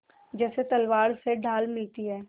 जैसे तलवार से ढाल मिलती है